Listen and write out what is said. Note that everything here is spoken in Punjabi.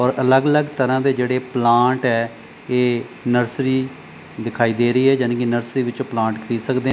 ਔਰ ਅਲੱਗ ਅਲੱਗ ਤਰ੍ਹਾਂ ਦੇ ਜਿਹੜੇ ਪਲਾਂਟ ਆ ਇਹ ਨਰਸਰੀ ਦਿਖਾਈ ਦੇ ਰਹੀ ਆ ਯਾਨੀ ਕਿ ਨਰਸਰੀ ਪਲਾਂਟ ਖਰੀਦ ਸਕਦੇ ਹੈ।